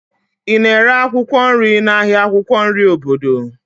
Ị na-ere akwụkwọ nri n'ahịa akwụkwọ nri obodo?